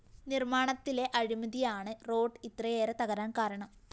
നിര്‍മാണത്തിലെ അഴിമതിയാണ് റോഡ്‌ ഇത്രയേറെ തകരാന്‍ കാരണം